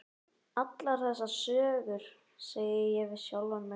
Allar þessar sögur, segi ég við sjálfan mig.